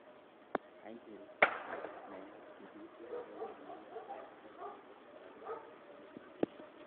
Aisiru, nayat ki kiten agobo amune sikai kochobokse oranibo sitimet age.